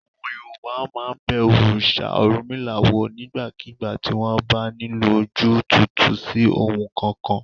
Àwọn Yorùbá máa ń bẹ òrìṣà Ọ̀rúnmìlà wò nígbàkigbà tí wọ́n bá nílò ojú túútúú sí ohun kankan.